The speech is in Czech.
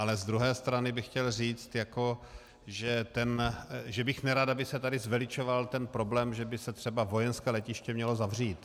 Ale z druhé strany bych chtěl říct, že bych nerad, aby se tady zveličoval ten problém, že by se třeba vojenské letiště mělo zavřít.